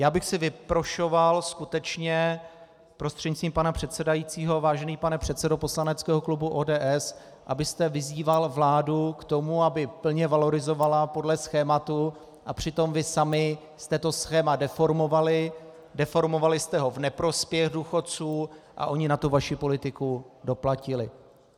Já bych si vyprošoval skutečně, prostřednictvím pana předsedajícího, vážený pane předsedo poslaneckého klubu ODS, abyste vyzýval vládu k tomu, aby plně valorizovala podle schématu, a přitom vy sami jste to schéma deformovali, deformovali jste ho v neprospěch důchodců a oni na tu vaši politiku doplatili.